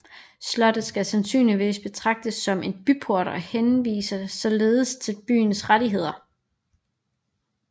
Slottet skal sandsynligvis betragtes som en byport og henviser således til byens rettigheder